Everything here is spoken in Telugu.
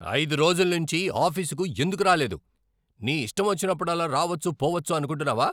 ఐదు రోజుల నుంచి ఆఫీసుకు ఎందుకు రాలేదు? నీ ఇష్టమొచ్చినప్పుడల్లా రావచ్చు, పోవచ్చు అనుకుంటున్నావా?